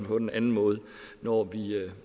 den anden måde når